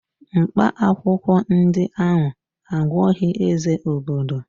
Mkpaakwụkwọ ndị ahụ agwọghị Eze obodo